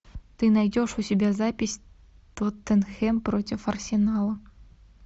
ты найдешь у себя запись тоттенхэм против арсенала